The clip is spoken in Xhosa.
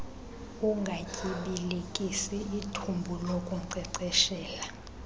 ungatyibilikisi ithumbu lokunkcenkceshela